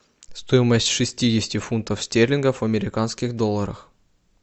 стоимость шестидесяти фунтов стерлингов в американских долларах